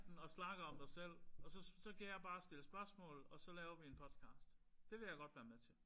Og snakker om dig selv. Og så så kan jeg bare stille spørgsmål og så laver vi en podcast. Det vil jeg godt være med til